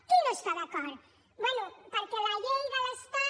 qui no hi està d’acord bé perquè la llei de l’estat